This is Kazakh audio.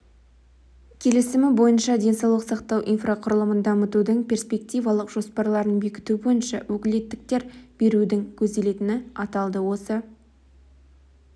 келісімі бойынша денсаулық сақтау инфрақұрылымын дамытудың перспективалық жоспарларын бекіту бойынша өкілеттіктер берудің көзделетіні аталды осы